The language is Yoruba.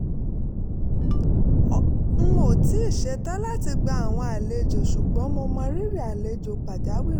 n ò tíì ṣetán láti gba àwọn àlejò ṣùgbọ́n mo mọrírì àlejò pàjáwìrì